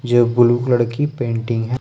यह blue colour की painting है।